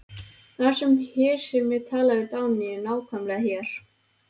Það var hér sem ég talaði við Dagnýju, nákvæmlega hér.